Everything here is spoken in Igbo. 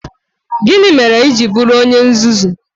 Gịnị mere i ji bụrụ onye nzuzu?